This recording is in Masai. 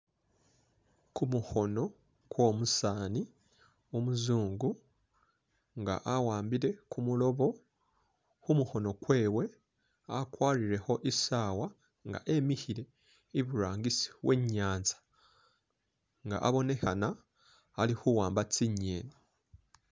Kumukhono kwo musani umuzungu nga awa'ambile kimiloobo, khumukhono kwewe akwarire kho i'saawa nga wemikhile i'burangisi we'nyanza nga abonekhana ali khuwamba tsi'ngeni